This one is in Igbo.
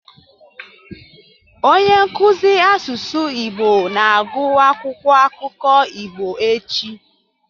Onye nkuzi asụsụ Igbo na-agụ akwụkwọ akụkọ Igbo echi.